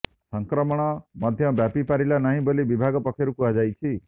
ସଂକ୍ରମଣ ମଧ୍ୟ ବ୍ୟାପି ପାରିଲା ନାହିଁ ବୋଲି ବିଭାଗ ପକ୍ଷରୁ କୁହାଯାଇଛି